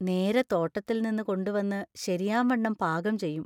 നേരെ തോട്ടത്തിൽന്ന് കൊണ്ടുവന്ന് ശരിയാംവണ്ണം പാകം ചെയ്യും.